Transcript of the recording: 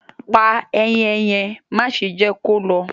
Pà àayen yẹn, màṣe jẹ ki ó lọ